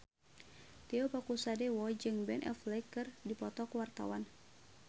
Tio Pakusadewo jeung Ben Affleck keur dipoto ku wartawan